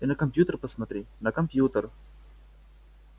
ты на компьютер посмотри на компьютер